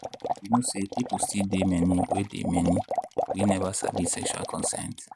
you know say people still dey many we dey many we never sabi sexual consent.